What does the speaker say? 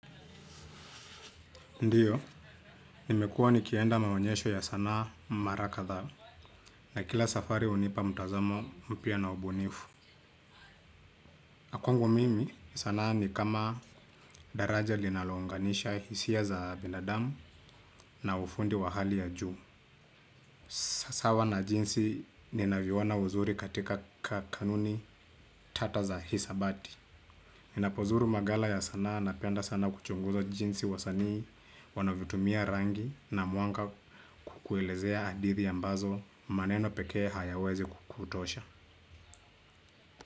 Ndiyo, nimekuwa nikienda maonyesho ya sanaa mara kadhaa na kila safari hunipa mtazamo mpya na ubunifu. Kwangu mimi sanaa ni kama daraja linalounganisha hisia za binadamu na ufundi wa hali ya juu. Sawa na jinsi ninavyoona uzuri katika kanuni tata za hisabati. Ninapozuru magala ya sanaa napenda sana kuchunguza jinsi wasanii wanavyotumia rangi na mwanga kuelezea hadithi ambazo maneno pekee hayawezi kutosha.